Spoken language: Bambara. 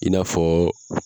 I n'a fɔ